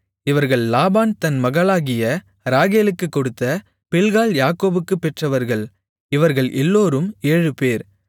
இவர்கள் லாபான் தன் மகளாகிய ராகேலுக்குக் கொடுத்த பில்காள் யாக்கோபுக்குப் பெற்றவர்கள் இவர்கள் எல்லோரும் ஏழுபேர்